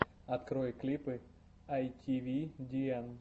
открой клипы айтивидиэн